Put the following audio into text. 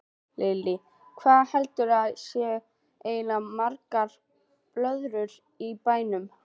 Lillý: Hvað heldurðu að séu eiginlega margar blöðrur í bænum?